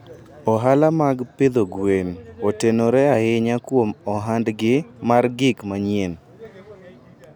Ohala mag pidho gwen otenore ahinya kuom ohandgi mar gik manyien.